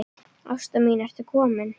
Ásta mín ertu komin?